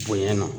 Bonyana